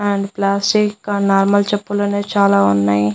And plastic గా normal చెప్పులు ఉన్నాయి చాలా ఉన్నాయ్.